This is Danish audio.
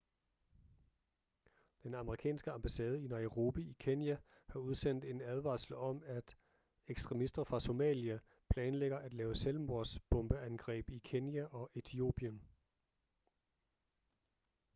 den amerikanske ambassade i nairobi i kenya har udsendt en advarsel om at ekstremister fra somalia planlægger at lave selvmordsbombeangreb i kenya og etiopien